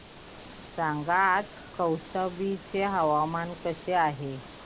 सांगा आज कौशंबी चे हवामान कसे आहे